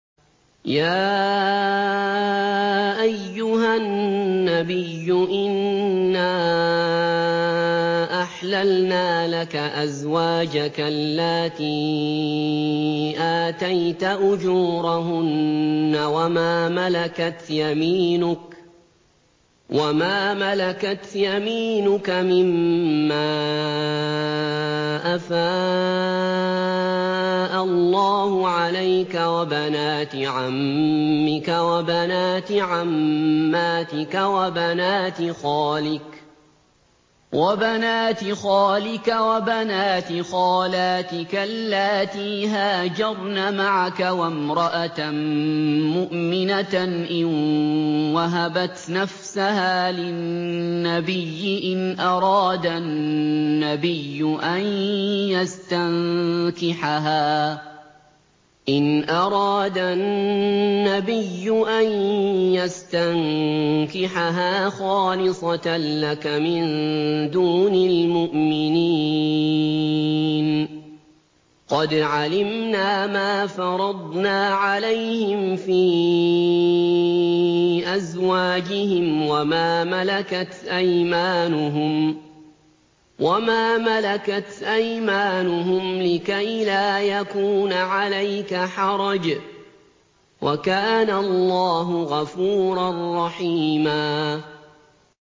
يَا أَيُّهَا النَّبِيُّ إِنَّا أَحْلَلْنَا لَكَ أَزْوَاجَكَ اللَّاتِي آتَيْتَ أُجُورَهُنَّ وَمَا مَلَكَتْ يَمِينُكَ مِمَّا أَفَاءَ اللَّهُ عَلَيْكَ وَبَنَاتِ عَمِّكَ وَبَنَاتِ عَمَّاتِكَ وَبَنَاتِ خَالِكَ وَبَنَاتِ خَالَاتِكَ اللَّاتِي هَاجَرْنَ مَعَكَ وَامْرَأَةً مُّؤْمِنَةً إِن وَهَبَتْ نَفْسَهَا لِلنَّبِيِّ إِنْ أَرَادَ النَّبِيُّ أَن يَسْتَنكِحَهَا خَالِصَةً لَّكَ مِن دُونِ الْمُؤْمِنِينَ ۗ قَدْ عَلِمْنَا مَا فَرَضْنَا عَلَيْهِمْ فِي أَزْوَاجِهِمْ وَمَا مَلَكَتْ أَيْمَانُهُمْ لِكَيْلَا يَكُونَ عَلَيْكَ حَرَجٌ ۗ وَكَانَ اللَّهُ غَفُورًا رَّحِيمًا